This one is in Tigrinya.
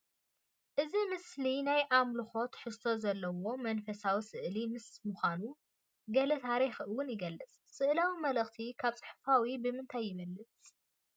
እዚ ምስሊ ናይ ኣምልኮ ትሕዝቶ ዘለዎ መንፈሳዊ ስእሊ ምስ ምዃኑ ገለ ታሪክ እውን ይገልፅ፡፡ ስእላዊ መልእኽቲ ካብ ፅሑፋዊ ብምንታይ ይበልፅ?